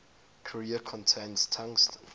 carrier contains tungsten